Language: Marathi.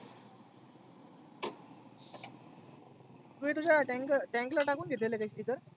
तु तुझ्या tank tank ला टाकुन घेतलं ते sticker?